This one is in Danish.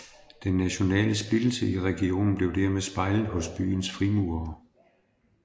Den nationale splittelse i regionen blev dermed spejlet hos byens frimurere